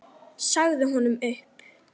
Sagði honum upp.